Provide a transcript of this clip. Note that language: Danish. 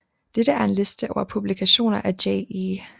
Dette er en liste over publikationer af Jay E